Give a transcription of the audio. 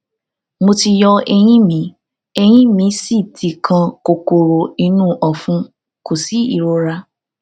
mo ti yọ eyín mi eyín míì sì ti kan kòkòrò inú ọfun kò sí ìrora